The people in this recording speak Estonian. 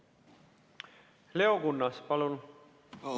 Leo Kunnas, palun!